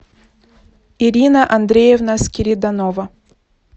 ирина андреевна скириданова